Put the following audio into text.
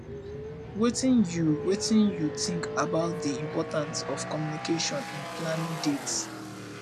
wetin you wetin you think about di importance of communication in planning dates